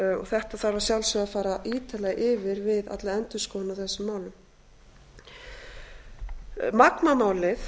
þetta þarf að sjálfsögðu að fara ítarlega yfir við alla endurskoðun á þessum málum magma málið